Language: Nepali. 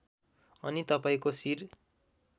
अनि तपाईँको शिर